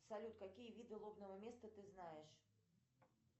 салют какие виды лобного места ты знаешь